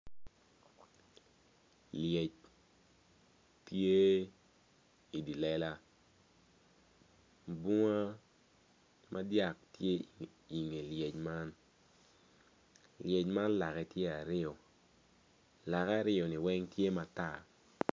Lyec tye i dye lega bunga madyat tye i nge lyec man lyec tye ki lake aryo lake aryo man tye matar.